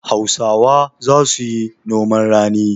Hausawa za su yi noman rani.